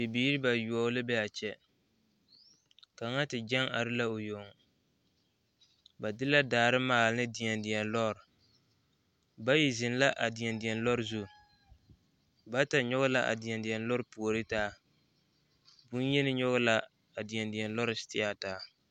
Bibiiri bayoɔ la be a kyɛ kaŋ gyɛŋ la o yoŋ ba de la daare maale deɛdeɛ lɔre bayi zeŋ la a deɛdeɛ lɔre zu bata kyɔŋe la a deɛdeɛ lɔre puori taa boyeni kyɔŋe la a deɛdeɛ lɔɛ seteɛ taa